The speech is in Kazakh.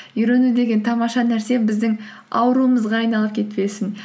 үйрену деген тамаша нәрсе біздің ауруымызға айналып кетпесін